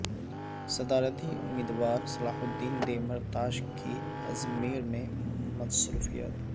صدارتی امیدوار Selahattin Demirtas کی ازمیر میں مصروفیات